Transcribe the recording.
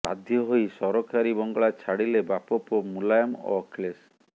ବାଧ୍ୟ ହୋଇ ସରକାରୀ ବଙ୍ଗଳା ଛାଡିଲେ ବାପପୁଅ ମୁଲାୟମ ଓ ଅଖିଳେଶ